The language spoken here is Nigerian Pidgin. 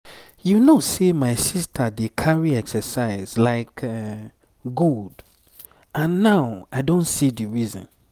you know sey my sister dey carry exercise like gold and now i don see the reason.